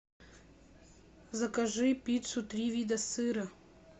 закажи пиццу три вида сыра